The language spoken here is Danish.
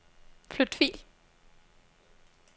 Flyt fil.